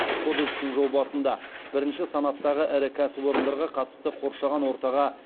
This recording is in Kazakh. кодекстің жобасында бірінші санаттағы ірі кәсіпорындарға қатысты қоршаған ортаға